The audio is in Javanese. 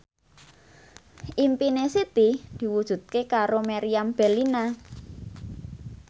impine Siti diwujudke karo Meriam Bellina